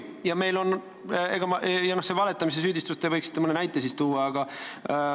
Ja noh, see valetamise süüdistus – te võiksite mõne näite tuua.